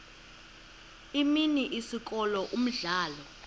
imini isikolo umdlalo